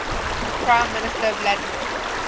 prime minister vladimir